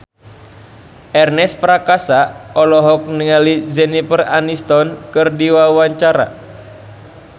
Ernest Prakasa olohok ningali Jennifer Aniston keur diwawancara